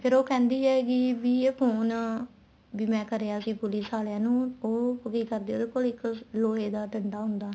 ਫ਼ੇਰ ਉਹ ਕਹਿੰਦੀ ਆ ਵੀ ਵੀ ਇਹ phone ਵੀ ਮੈਂ ਕਰਿਆ ਸੀ police ਆਲਿਆ ਨੂੰ ਉਹ ਕੀ ਕਰਦੇ ਏ ਉਹਦੇ ਕੋਲ ਇੱਕ ਲੋਹੇ ਦਾ ਡੰਡਾ ਹੁੰਦਾ